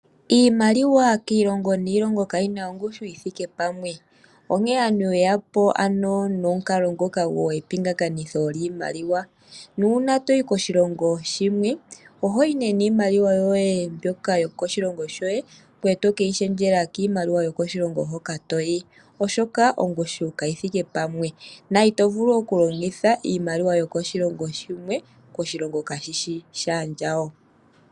Iimaliwa kiilongo niilongo kayi na ongushu yi thike pamwe. Onkene aantu ye ya po ano nomukalo ngoka gwepingakanitho lyiimaliwa. Nuuna to yi koshilongo shimwe oho yi nee niimaliwa yoye mbyoka yokoshilongo shoye ngoye to ke yi shendjela kiimaliwa yokoshilongo hoka to yi, oshoka ongushu kayi thike pamwe na ito vulu okulongitha iimaliwa yokoshilongo shimwe koshilongo kashi shi shaandjawo.